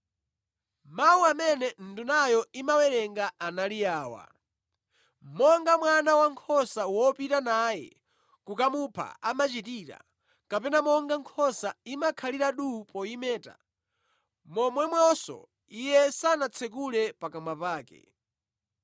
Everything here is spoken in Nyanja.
Mawu amene ndunayo imawerenga anali awa: “Monga mwana wankhosa wopita naye kokamupha amachitira, kapena monga nkhosa imakhalira duu poyimeta, momwemonso iye sanatsekule pakamwa pake.